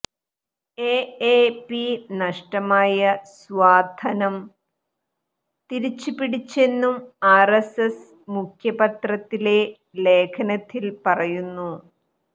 എഎപി നഷ്ടമായ സ്വാധനം തിരിച്ചുപിടിച്ചെന്നും ആർഎസ്എസ് മുഖപത്രത്തിലെ ലേഖനത്തിൽ പറയുന്നു